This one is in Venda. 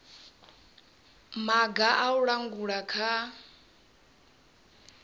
maga a u langula kha